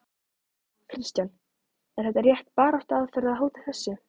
Kristján: Er þetta rétt baráttuaðferð, að hóta þessu?